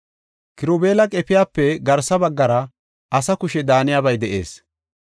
Kirubeela qefiyape garsa baggara asa kushe daaniyabay de7ees.